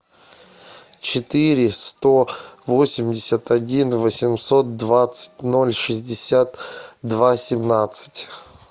четыре сто восемьдесят один восемьсот двадцать ноль шестьдесят два семнадцать